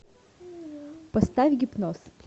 поставь гипноз